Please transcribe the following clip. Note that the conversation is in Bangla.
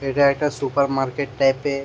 এইটা একটা সুপার মার্কেট টাইপ -এর ।